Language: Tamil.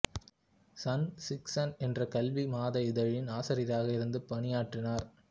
சன் சிக்ஸன் என்ற கல்வி மாத இதழின் ஆசிரியராக இருந்து பணியாற்றினார்